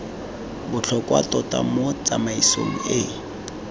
botlhokwa tota mo tsamaisong e